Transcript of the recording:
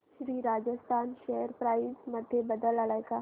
Shri Rajasthan share price मध्ये बदल आलाय का